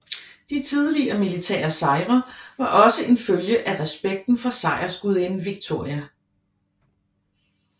De tidligere militære sejre var også en følge af respekten for sejrsgudinden Victoria